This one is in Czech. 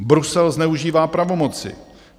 Brusel zneužívá pravomoci.